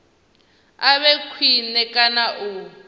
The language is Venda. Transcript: a vhe khwine kana u